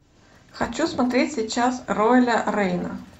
хочу смотреть сейчас роэля рейна